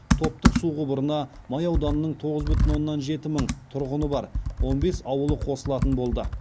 топтық су құбырына май ауданының тоғыз бүтін оннан жеті мың тұрғыны бар он бес ауылы қосылатын болды